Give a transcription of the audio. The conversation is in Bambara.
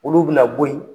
Olu bɛna bɔ yen